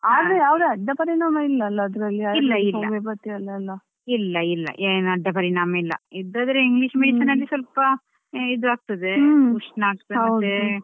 ಆದ್ರೆ ಯಾವ್ದು ಅಡ್ಡ ಪರಿಣಾಮ ಇಲ್ಲ ಅಲ್ಲ ಅದ್ರಲ್ಲಿ Ayurvedic ಹೋಮಿಯೋಪಥಿಯಲೆಲ್ಲ.